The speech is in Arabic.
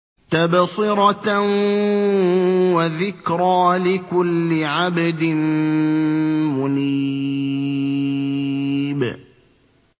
تَبْصِرَةً وَذِكْرَىٰ لِكُلِّ عَبْدٍ مُّنِيبٍ